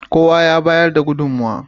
Kowa ya bayar da gudunmowa.